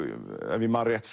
ef ég man rétt